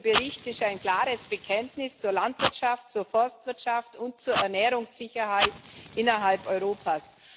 Dieser Bericht ist ein klares Bekenntnis zur Landwirtschaft, zur Forstwirtschaft und zur Ernährungssicherheit innerhalb Europas.